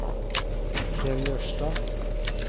Kjell Jørstad